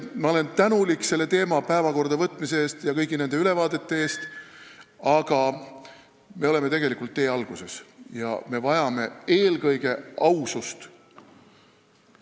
Ma olen tänulik selle teema päevakorda võtmise eest ja kõigi nende ülevaadete eest, aga me oleme tegelikult tee alguses ja vajame eelkõige ausust.